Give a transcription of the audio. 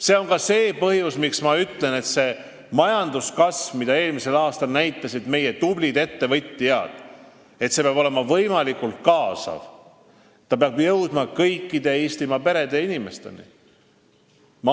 See on ka see põhjus, miks ma ütlen, et see majanduskasv, mida eelmisel aastal näitasid meie tublid ettevõtjad, peab olema võimalikult kaasav, ta peab jõudma kõikide Eestimaa perede ja inimesteni.